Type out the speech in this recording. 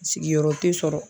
Sigiyɔrɔ tɛ sɔrɔ.